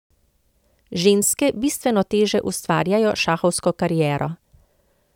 Ženske bistveno teže ustvarjajo šahovsko kariero.